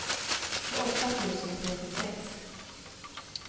tjugoåtta tusen trettiosex